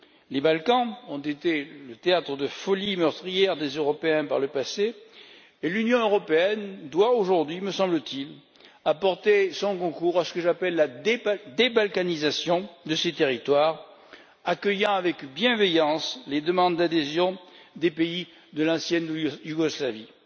Les Balkans ont été le théâtre de la folie meurtrière des Européens par le passé et l'Union européenne doit aujourd'hui, me semble t il, apporter son concours à ce que j'appelle la débalkanisation de ces territoires, en accueillant avec bienveillance les demandes d'adhésion des pays de l'ex Yougoslavie.